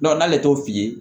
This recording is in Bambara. n'ale t'o f'i ye